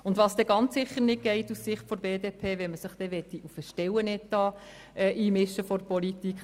Was aus Sicht der BDP aber ganz sicher nicht geht, wäre, wenn man sich seitens der Politik beim Stellenetat einmischen wollte.